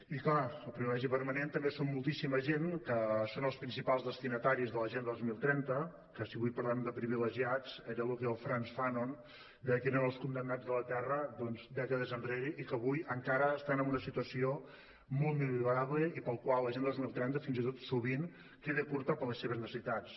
i clar el privilegi permanent també són moltíssima gent que són els principals destinataris de l’agenda dos mil trenta que si avui parlem de privilegiats era el que el frantz fanon deia que eren els condemnats de la terra doncs dècades enrere i que avui encara estan en una situació molt millorable i pel qual l’agenda dos mil trenta fins i tot sovint queda curta per les seves necessitats